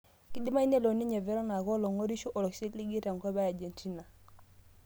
Kedimayu nelo ninye Veron aaku olang'orisho ioisiligi tenkop e agentina